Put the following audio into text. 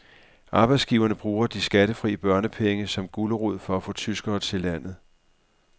Arbejdsgiverne bruger de skattefri børnepenge som gulerod for at få tyskere til landet.